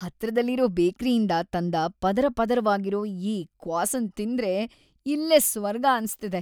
ಹತ್ರದಲ್ಲಿರೋ ಬೇಕ್ರಿಯಿಂದ ತಂದ ಪದರಪದರವಾಗಿರೋ ಈ ಕ್ವಾಸನ್‌‌ ತಿಂತಿದ್ರೆ ಇಲ್ಲೇ ಸ್ವರ್ಗ ಅನ್ಸ್ತಿದೆ.